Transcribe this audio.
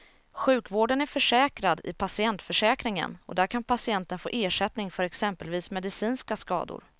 Sjukvården är försäkrad i patientförsäkringen och där kan patienten få ersättning för exempelvis medicinska skador.